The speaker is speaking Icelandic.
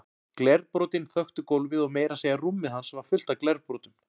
Glerbrotin þöktu gólfið og meira að segja rúmið hans var fullt af glerbrotum.